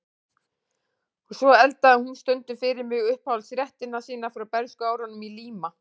Og svo eldaði hún stundum fyrir mig uppáhaldsréttina sína frá bernskuárunum í Líma